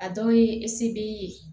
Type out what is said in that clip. A dɔw ye ye